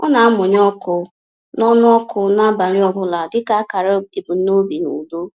Ọ na-amụnye ọkụ n’ọnụ ọkụ n’abalị ọ bụla dịka akara ebumnobi na udo.